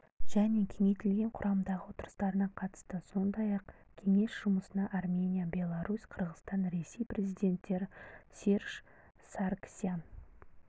және кеңейтілген құрамдағы отырыстарына қатысты сондай-ақ кеңес жұмысына армения беларусь қырғызстан ресей президенттері серж саргсян